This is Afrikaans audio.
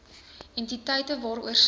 entiteite waaroor sy